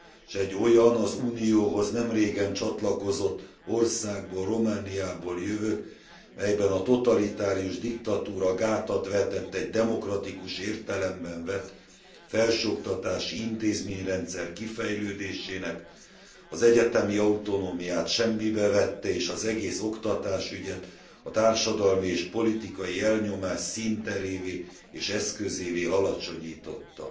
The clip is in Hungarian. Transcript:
s egy olyan, az Unióhoz nemrégen csatlakozott országból, Romániából jövök, melyben a totalitárius diktatúra gátat vetett egy demokratikus értelemben vett felsőoktatási intézményrendszer kifejlődésének, az egyetemi autonómiát semmibe vette és az egész oktatásügyet a társadalmi és politikai elnyomás színterévé és eszközévé alacsonyította.